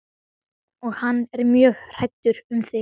Og hann er mjög hræddur um þig.